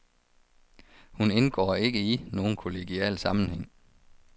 Hun indgår ikke i nogen kollegial sammenhæng.